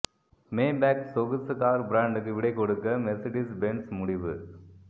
Maybach சொகுசு car பிராண்டுக்கு விடை கொடுக்க மெர்சிடிஸ் பென்ஸ் முடிவு